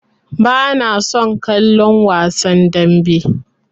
Bana son kallon wasan dambe.